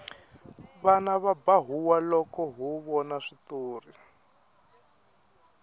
vana va ba huwa loko ho vona switori